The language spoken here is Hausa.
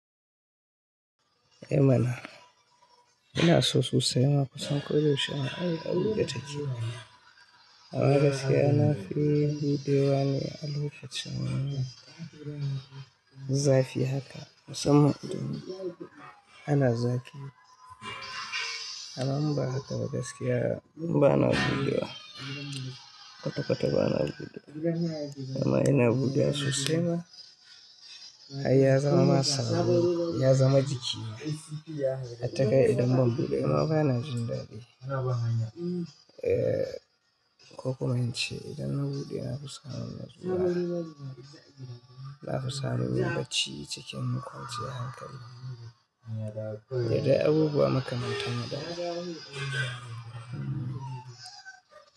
Eh mana, ina so su saya ma kusan koyaushe ai abubuwa da take. Amma gaskiya nafi, buɗe wane, alokacin, zafi haka. Musamman idan ana zafi, amma in ba haka ba gaskiya bana buɗewa. Kwata-kwata ba na buɗewa. Amma ina buɗewa sosai ma ai ya zama ma sabo, ya zama jiki. Hatta kai idan ban buɗe ba ma ba na jin daɗi. Eh, ko kuma in ce idan na buɗe na fi samun natsuwa. Na fi samun yin bacci cikin kwanciyar hankali. Da dai abubuwa makamantan waɗannan.